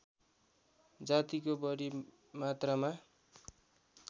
जातिको बढी मात्रामा